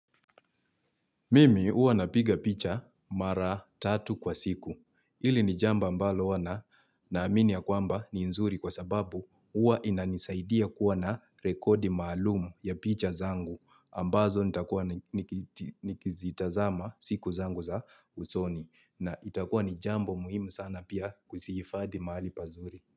Mimi huwa napiga picha mara tatu kwa siku. Hili ni jambo ambalo huwa na amini ya kwamba ni nzuri kwa sababu huwa inanisaidia kuwa na rekodi maalum ya picha zangu. Ambazo nitakua nikizitazama siku zangu za usoni. Na itakua ni jambo muhimu sana pia kuzihifadhi mahali pazuri.